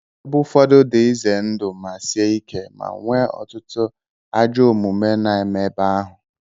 Ebe ụfọdụ dị ize ndụ ma sie ike ma nwee ọtụtụ ajọ omume na-eme ebe ahụ.